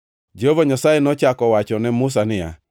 Jehova Nyasaye nochako owachone Musa niya,